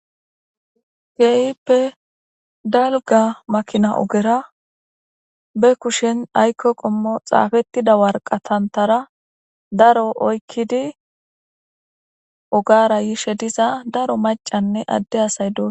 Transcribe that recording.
Keeyippe dalga makina ogera be kushen aykko qommo xaafettida warqatantara daro oykkidi ogara yishe diza daro macanne adde asay do.